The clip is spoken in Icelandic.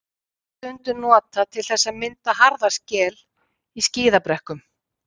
Salt er stundum notað til þess að mynda harða skel í skíðabrekkum.